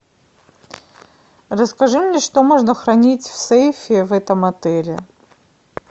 расскажи мне что можно хранить в сейфе в этом отеле